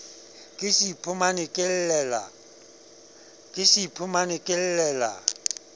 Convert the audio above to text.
ke se iphumane ke llela